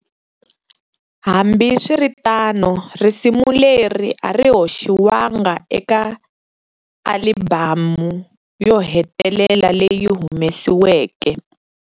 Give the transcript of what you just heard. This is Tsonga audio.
Hambi swiritano risimu leri ari hoxiwanga eka alibhamu yo hetelela leyi humesiweke.